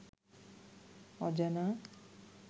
অজানা